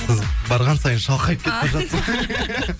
қызық барған сайын шалқайып кетіп бара жатсыз